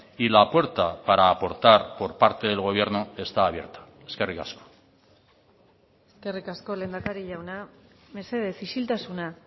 y la puerta para aportar por parte del gobierno está abierta eskerrik asko eskerrik asko lehendakari jauna mesedez isiltasuna